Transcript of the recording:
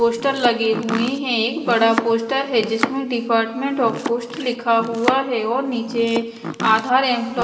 poster लगे हुए हैं एक बड़ा पोस्टर है जिसमें डिपार्टमेंट ऑफ पोस्ट लिखा हुआ है और नीचे आधार